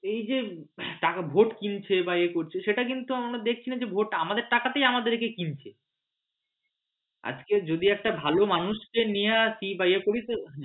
এই যে টাকা ভোট কিনছে এ করছে সেটা কিন্তু আমরা দেখছিনা আমাদের টাকাতেই আমাদেরকে কিনছে আজকে যদি একটা ভালো মানুষকে নিয়ে আসি বা ইয়ে করি